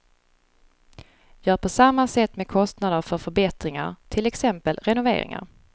Gör på samma sätt med kostnader för förbättringar, till exempel renoveringar.